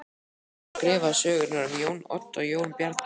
Helgadóttur sem skrifaði sögurnar um Jón Odd og Jón Bjarna.